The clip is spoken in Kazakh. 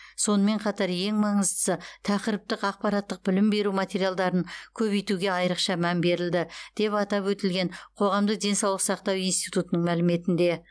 сонымен қатар ең маңыздысы тақырыптық ақпараттық білім беру материалдарын көбейтуге айрықша мән берілді деп атап өтілген қоғамдық денсаулық сақтау институтының мәліметінде